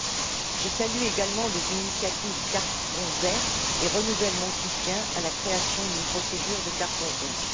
2. Je salue également les initiatives de carton vert et renouvelle mon soutien à la création d'une procédure de carton rouge.